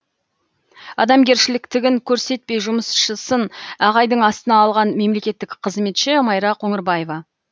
адамгершіліктігін көрсетпей жұмысшысын айғайдың астына алған мемлекеттік қызметші майра қоңырбаева